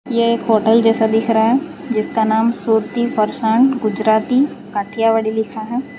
यह एक होटल जैसा दिख रहा है जिसका नाम सूरति फरसान गुजराती काठियावाड़ी लिखा है।